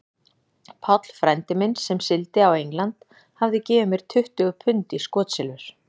Páll frændi minn, sem sigldi á England, hafði gefið mér tuttugu pund í skotsilfur.